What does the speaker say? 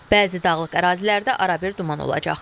Bəzi dağlıq ərazilərdə arabir duman olacaq.